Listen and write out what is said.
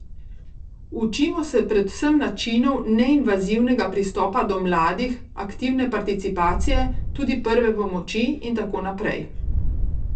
Učimo se predvsem načinov neinvazivnega pristopa do mladih, aktivne participacije, tudi prve pomoči in tako naprej.